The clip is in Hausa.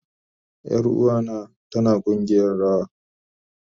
Yaruwa na tana kugiyar rawa